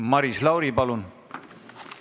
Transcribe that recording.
Maris Lauri, palun!